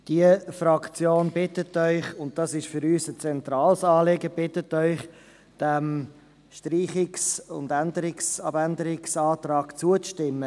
Die Fraktion bittet Sie – und dies ist für uns ein zentrales Anliegen –, diesem Streichungs- und Abänderungsantrag zuzustimmen.